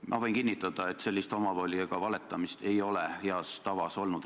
Ma võin kinnitada, et sellist omavoli ega valetamist pole riigivalitsemise heas tavas olnud.